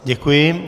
Děkuji.